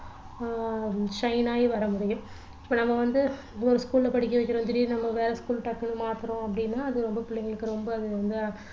ஆஹ் shine ஆகி வரமுடியும் இப்போ நாம வந்து ஒரு school ல படிக்க வைக்கிறோம் திடீர்னு நம்ம வேற school டக்குன்னு மாத்துறோம் அப்படின்னா அது ரொம்ப புள்ளைங்களுக்கு ரொம்ப இதா